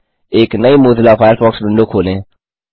एक नई Mozilla Firefox window खोलें